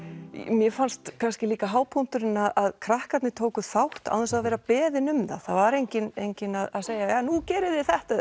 mér fannst kannski líka hápunkturinn að krakkarnir tóku þátt án þess að vera beðin um það það var enginn enginn að segja nú gerið þið þetta